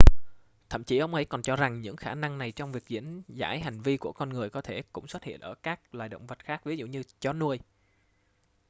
thậm chí ông ấy còn cho rằng những khả năng này trong việc diễn giải hành vi của con người có thể cũng xuất hiện ở các loài động vật khác ví dụ như chó nuôi